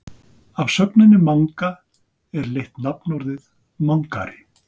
Af sögninni manga er leitt nafnorðið mangari.